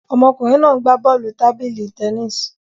Ọmọkùnrin náà ń gbá bọ́ọ̀lù tábìlì tennis